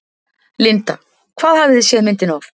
Linda: Hvað hafið þið séð myndina oft?